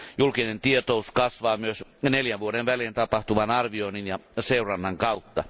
Julkinen tietous kasvaa myös neljän vuoden välein tapahtuvan arvioinnin ja seurannan kautta.